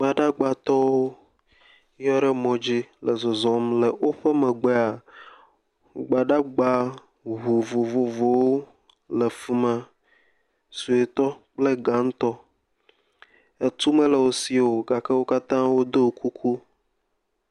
Gbadagbatɔwo ye le mɔ dzi le zɔzɔm le woƒe megbea gbadagba vovovowo le fi ma. Suetɔ kple gãtɔ. Etu mele wo si o gake wo katã do kuku.